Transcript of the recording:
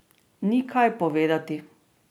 Ni kaj povedati.